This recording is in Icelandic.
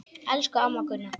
Elsku amma Gunna.